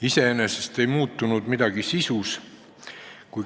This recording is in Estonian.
Iseenesest ju sisus midagi ei muutunud.